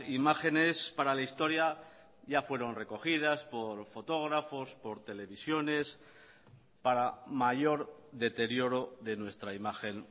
imágenes para la historia ya fueron recogidas por fotógrafos por televisiones para mayor deterioro de nuestra imagen